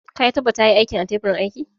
Ka tabbata ya yi aikin a kan teburin aiki?